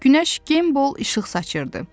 Günəş gameball işıq saçırdı.